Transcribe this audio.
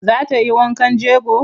Za ta yi wankan jego?